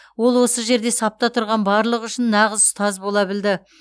ол осы жерде сапта тұрған барлығы үшін нағыз ұстаз бола білді